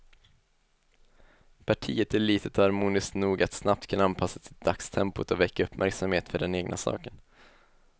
Partiet är litet och harmoniskt nog att snabbt kunna anpassa sig till dagstempot och väcka uppmärksamhet för den egna saken.